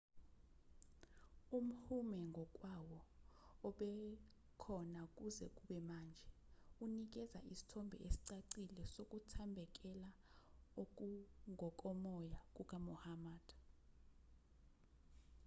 umhume ngokwawo obekhona kuze kube manje unikeza isithombe esicacile sokuthambekela okungokomoya kukamuhammad